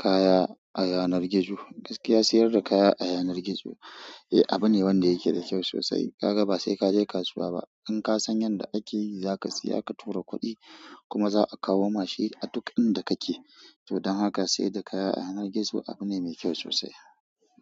kaya a yanar gizo. Gaskiya siyar da kaya a yanar gizo eh abu ne wanda yake da kyau sosai. Ka ga ba sai ka je kasuwa ba, in ka san yanda ake yi za ka siya ka tura kuɗi kuma za a kawo ma shi a duk inda kake. Don haka siyar da kaya a yanar gizo abu ne mai kyau sosai.